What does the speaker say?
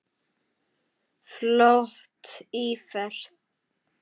Flott íferð.